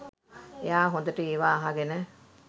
එයා හොඳට ඒවා අහගෙන